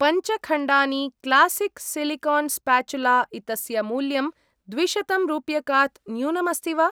पञ्च खण्डानि classic silicone spatula इतस्य मूल्यं द्विशतम् रुप्यकात् न्यूनम् अस्ति वा?